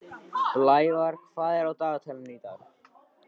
Blævar, hvað er á dagatalinu í dag?